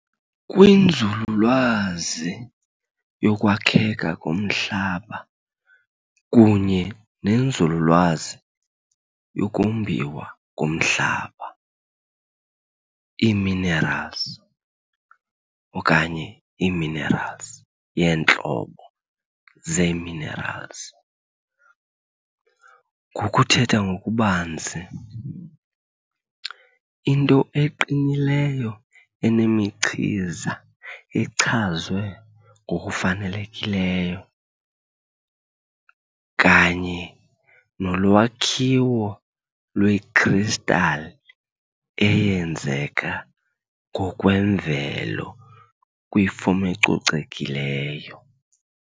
Kwinzululwazi yokwakheka komhlaba kunye nenzululwazi yokombiwa komhlaba, ii-minerals okanye ii-minerals yeentlobo zee-minerals, ngokuthetha ngokubanzi, into eqinileyo enemichiza echazwe ngokufanelekileyo kanye nolwakhiwo lwee-crystal eyenzeka ngokwemvelo kwifom ecocekileyo.